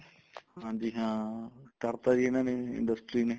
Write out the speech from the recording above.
ਹਾਂਜੀ ਹਾਂ ਕਰਤਾ ਜੀ ਇਹਨਾ ਨੇ industry ਨੇ